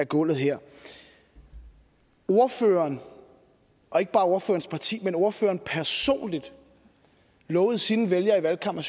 gulvet her ordføreren og ikke bare ordførerens parti men ordføreren personligt lovede sine vælgere i valgkampen